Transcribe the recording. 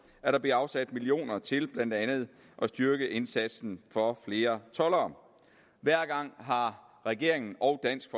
at der bliver afsat millioner til blandt andet at styrke indsatsen for at få flere toldere regeringen og dansk